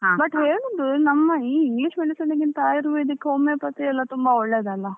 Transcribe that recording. ಮತ್ತೆ ಹೇಳುದು ನಮ್ಮಈ English medicine ಗಿಂತ Ayurvedic ಹೋಮಿಯೋಪತಿ ಎಲ್ಲಾ ತುಂಬಾ ಒಳ್ಳೇದಲ್ವಾ.